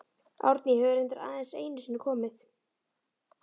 Árný hefur reyndar aðeins einu sinni komið.